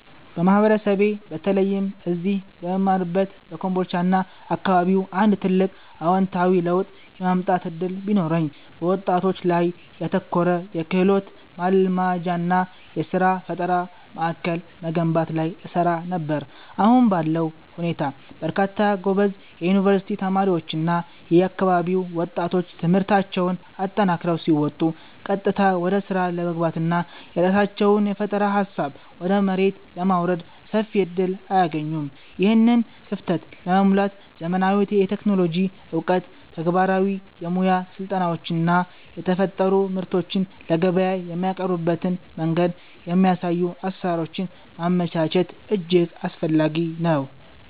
በማህበረሰቤ በተለይም እዚህ በምማርበት በኮምቦልቻና አካባቢው አንድ ትልቅ አዎንታዊ ለውጥ የማምጣት ዕድል ቢኖረኝ፣ በወጣቶች ላይ ያተኮረ የክህሎት ማልማጃና የሥራ ፈጠራ ማዕከል መገንባት ላይ እሰራ ነበር። አሁን ባለው ሁኔታ በርካታ ጎበዝ የዩኒቨርሲቲ ተማሪዎችና የአካባቢው ወጣቶች ትምህርታቸውን አጠናቀው ሲወጡ ቀጥታ ወደ ሥራ ለመግባትና የራሳቸውን የፈጠራ ሃሳብ ወደ መሬት ለማውረድ ሰፊ ዕድል አያገኙም። ይህንን ክፍተት ለመሙላት ዘመናዊ የቴክኖሎጂ ዕውቀት፣ ተግባራዊ የሙያ ስልጠናዎችና የተፈጠሩ ምርቶችን ለገበያ የሚያቀርቡበትን መንገድ የሚያሳዩ አሰራሮችን ማመቻቸት እጅግ አስፈላጊ ነው።